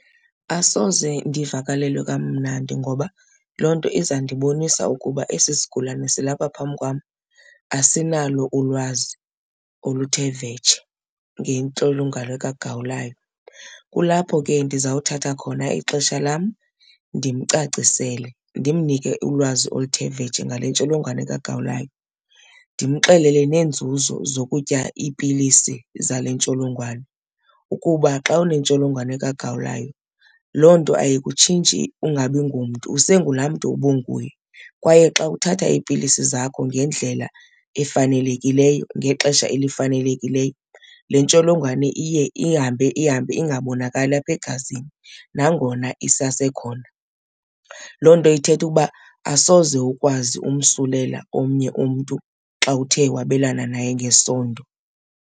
Asoze ndivakalelwe kamnandi ngoba loo nto izandibonisa ukuba esi sigulane silapha phambi kwam asinalo ulwazi oluthe vetshe ngentsholongwane kagawulayo. Kulapho ke ndizawuthatha khona ixesha lam ndimcacisele, ndimnike ulwazi oluthe vetshe ngale ntsholongwane kagawulayo. Ndimxelele neenzuzo zokutya iipilisi zale ntsholongwane, ukuba xa unentsholongwane kagawulayo loo nto ayikutshintshi ungabi ngomntu usengulaa mntu ubunguye. Kwaye xa uthatha iipilisi zakho ngendlela efanelekileyo ngexesha elifanelekileyo, le ntsholongwane iye ihambe ihambe ingabonakali apha egazini nangona isasekhona. Loo nto ithetha uba asoze ukwazi umsulela omnye umntu xa uthe wabelana naye ngesondo.